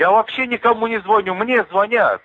я вообще никому не звоню мне звонят